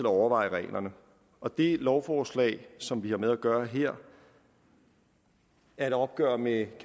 overveje reglerne og det lovforslag som vi har med at gøre her er et opgør med